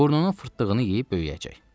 Burnunun fırtlığını yeyib böyüyəcək.